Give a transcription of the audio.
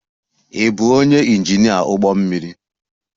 Ị bụ onye injinia ụgbọ mmiri?